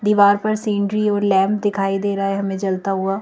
दीवार पर सीनरी और लैंप दिखाई दे रहा है हमें जलता हुआ--